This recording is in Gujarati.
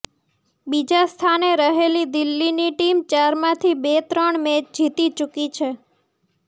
બીજા સ્થાને રહેલી દિલ્હીની ટીમ ચારમાંથી બે ત્રણ મેચ જીતી ચૂકી છે